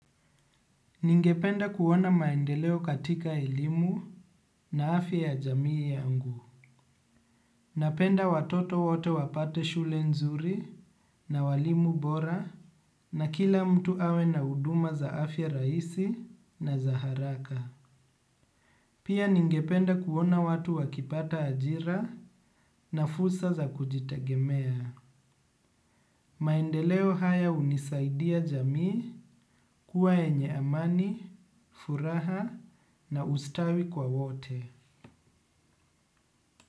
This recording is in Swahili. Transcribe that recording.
Ningependa kuona maendeleo katika elimu na afya ya jamii yangu. Napenda watoto wote wapate shule nzuri na walimu bora na kila mtu awe na huduma za afya rahisi na za haraka. Pia ningependa kuona watu wakipata ajira na fursa za kujitegemea. Maendeleo haya hunisaidia jamii kuwa yenye amani, furaha na ustawi kwa wote.